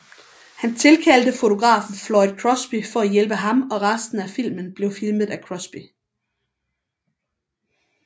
Han tilkaldte fotografen Floyd Crosby for at hjælpe ham og resten af filmen blev filmet af Crosby